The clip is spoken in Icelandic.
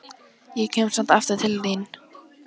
Ég kem samt aftur til þín.